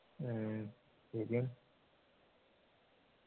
ആഹ് ശരിയാണ്